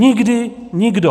Nikdy nikdo.